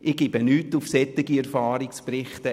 Ich gebe nichts auf solche Erfahrungsberichte.